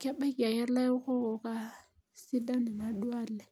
kebaki ake ilaokok aitobiraki.